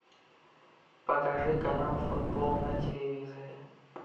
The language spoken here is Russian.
покажи канал футбол на телевизоре